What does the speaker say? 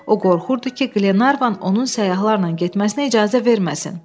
O qorxurdu ki, Qlenarvan onun səyyahlarla getməsinə icazə verməsin.